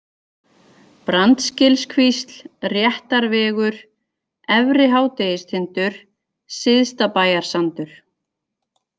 Brandsgilskvísl, Réttarvegur, Efri-Hádegistindur, Syðstabæjarsandur